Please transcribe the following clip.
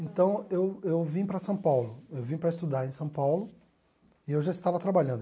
Então, eu eu vim para São Paulo, eu vim para estudar em São Paulo e eu já estava trabalhando.